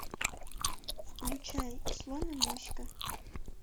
включай слон и моська